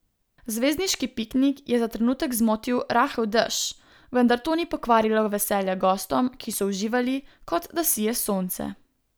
Zvezdniški piknik je za trenutek zmotil rahel dež, vendar to ni pokvarilo veselja gostom, ki so uživali, kot da sije sonce.